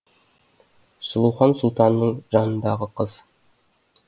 сұлухан сұлтанның жанындағы қыз